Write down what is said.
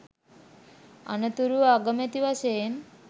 අනතුරුව අගමැති වශයෙන්